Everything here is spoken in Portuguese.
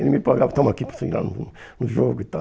Ele me pagava, toma aqui para você ir lá no no jogo e tal.